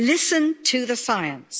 listen to the science.